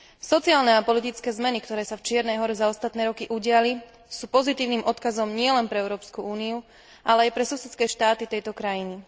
Sociálne a politické zmeny, ktoré sa v Čiernej Hore za ostatné roky udiali, sú pozitívnym odkazom nielen pre Európsku úniu, ale aj pre susedné štáty tejto krajiny.